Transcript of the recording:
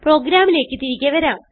പ്രോഗ്രാമിലേക്ക് തിരികെ വരാം